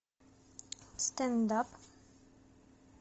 стендап